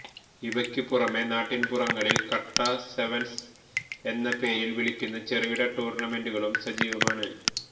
ഇവക്കുപുറമെ നാട്ടിന് പുറങ്ങളില് കട്ട സെവന്സ് എന്ന പേരിട്ട് വിളിക്കുന്ന ചെറുകിട ടൂര്ണമെന്റുകളും സജീവമാണ്